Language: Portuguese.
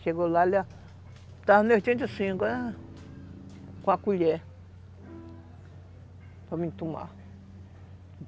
Chegou lá, ele estava, ah, com a colher, para mim tomar.